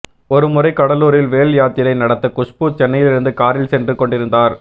ஒரு முறை கடலூரில் வேல் யாத்திரை நடத்த குஷ்பு சென்னையிலிருந்து காரில் சென்று கொண்டிருந்தார்